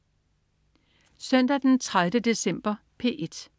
Søndag den 30. december - P1: